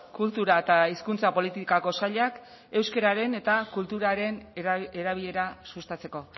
kultura eta hizkuntza politikako sailak euskeraren eta kulturaren erabilera sustatzeko